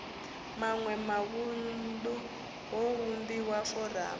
maṋwe mavunḓu ho vhumbiwa foramu